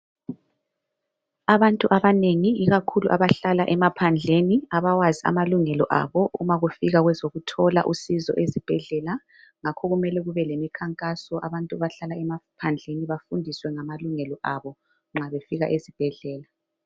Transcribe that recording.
abantu abanengi ikakhulu abahlala emaphandleni abawazi amalungelo yabo uma kufika ngezokuthola usizo esibhedlela ngakhokumele kube lemikhankaso abantu abahlala emaphandleni bafundiswe ngamalungelo aba nxabefika esibhedlela